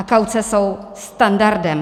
A kauce jsou standardem.